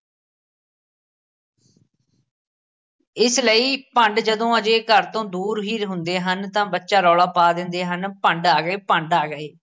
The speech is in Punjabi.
ਇਸ ਲਈ ਭੰਡ ਜਦੋਂ ਹਜੇ ਘਰ ਤੋਂ ਦੂਰ ਹੀ ਹੁੰਦੇ ਹਨ ਤਾਂ ਬੱਚਾ ਰੌਲਾ ਪਾ ਦਿੰਦੇ ਹਨ ਭੰਡ ਆ ਗਏ, ਭੰਡ ਆ ਗਏ